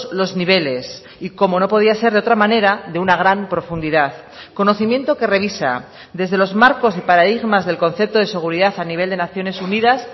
los niveles y como no podía ser de otra manera de una gran profundidad conocimiento que revisa desde los marcos y paradigmas del concepto de seguridad a nivel de naciones unidas